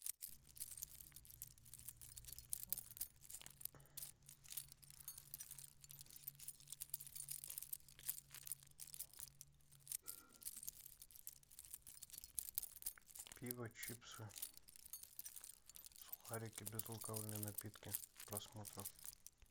пиво чипсы сухарики безалкогольные напитки к просмотру